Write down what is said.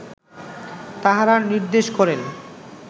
তাঁহারা নির্দেশ করেন